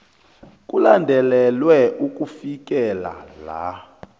kulandelelwe ukufikela la